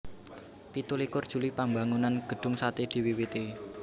Pitu likur Juli Pambangunan Gedung Sate diwiwiti